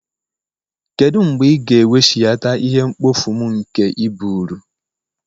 Kedu mgbe ị ga-eweghachite ihe mkpofu m nke i buuru?